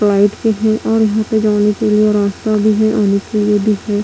Flight की है और यहां पे जाने के लिए रास्ता भी है आने के लिए भी हैं।